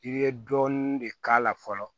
I bɛ dɔɔnin de k'a la fɔlɔ